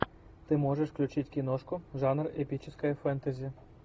ты можешь включить киношку жанр эпическое фэнтези